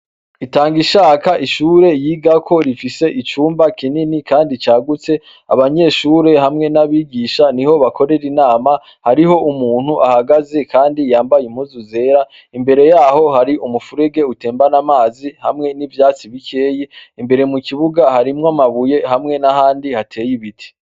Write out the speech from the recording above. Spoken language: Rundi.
Itangishaka ishure yigako rifise icumba kinini kandi c' agutse, abanyeshure hamwe n' abigisha niho bakorer' inama, harih' umunt' uhahagaze kandi yambay' impuzu zera , imbere yaho har'umufureg' utemban' amazi hamwe n' ivyatsi bikeyi, imbere mu kibuga harimw' amabuye hamwe n' ahandi hatey' ibiti.